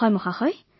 হয় মহোদয়